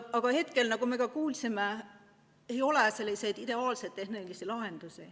Aga praegu, nagu me ka kuulsime, ei ole selleks ideaalseid tehnilisi lahendusi.